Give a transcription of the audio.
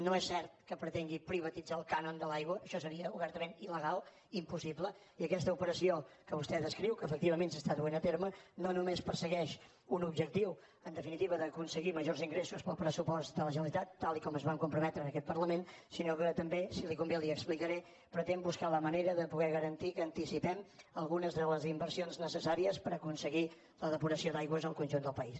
no és cert que pretengui privatitzar el cànon de l’aigua això seria obertament il·criu que efectivament s’està duent a terme no només persegueix un objectiu en definitiva d’aconseguir majors ingressos per al pressupost de la generalitat tal com ens hi vam comprometre en aquest parlament sinó que també si li convé li ho explicaré pretén buscar la manera de poder garantir que anticipem algunes de les inversions necessàries per aconseguir la depuració d’aigües al conjunt del país